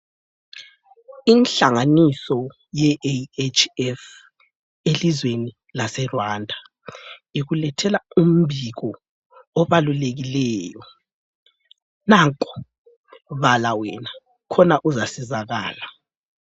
Inhlanganiso yeAHF elizweni laseRwanda ikulethela umbiko obalulekileyo. Nanko bala wena khona uzasizakala.